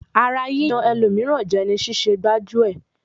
Ara yíyan ẹlòmíràn jẹ ni ṣíṣẹ gbájú-ẹ̀.